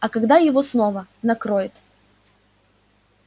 а когда его снова накроет